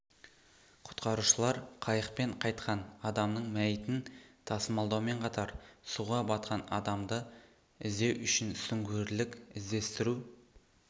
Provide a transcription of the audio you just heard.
құтқарушылар қайықпен қайтқан адамның мәйітін тасымалдаумен қатар суға батқан адамды іздеу үшін сүңгуірлік іздестіру